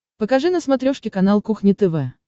покажи на смотрешке канал кухня тв